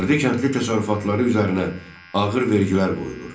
Fərdi kəndli təsərrüfatları üzərinə ağır vergilər qoyulur.